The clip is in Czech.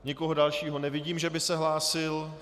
Nikoho dalšího nevidím, že by se hlásil.